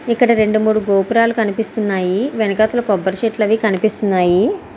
ఇక్కడ రెండు మూడు గోపురాలు కనిపిస్తున్నాయని వెనక కొబ్బరి చెట్లు అనేవి కనిపిస్తున్నాయి.